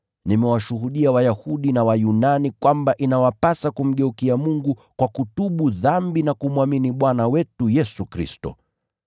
Nimewashuhudia Wayahudi na Wayunani kwamba inawapasa kumgeukia Mungu kwa kutubu dhambi na kumwamini Bwana wetu Yesu Kristo.